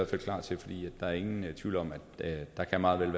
fald klar til for der er ingen tvivl om at der meget vel